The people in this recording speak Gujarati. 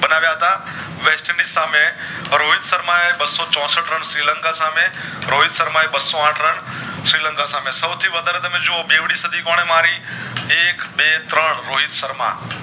ની સામે રોહિત શર્મા એ બાશો ચોષઠ run શ્રીલંકા સામે રોહિત શર્મા એ બાશો આઠ રન શ્રી લંકા સામે સવથી વધારે તમે જુવો બેવડી સાદી કોને મારી એક બે ત્રણ રોહિત શર્મા